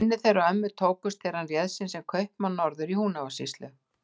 Kynni þeirra ömmu tókust þegar hann réð sig sem kaupamann norður í Húnavatnssýslu.